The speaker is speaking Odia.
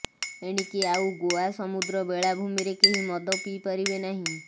ଏଣିକି ଆଉ ଗୋଆ ସମୂଦ୍ର ବେଳାଭୂମିରେ କେହି ମଦ ପିଇପାରିବେ ନାହିଁ